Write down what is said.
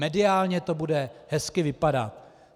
Mediálně to bude hezky vypadat.